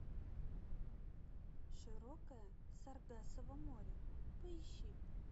широкое саргассово море поищи